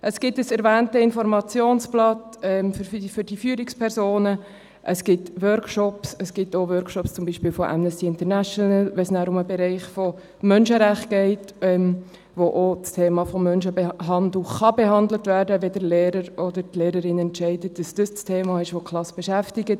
Es gibt das erwähnte Informationsblatt für die Führungspersonen, es gibt Workshops, es gibt auch Workshops zum Beispiel von Amnesty International, wenn es um den Bereich der Menschenrechte geht, wo auch das Thema von Menschenhandel behandelt werden kann, wenn der Lehrer oder die Lehrerin entscheidet, dass dies das Thema ist, welches die Klasse beschäftigt.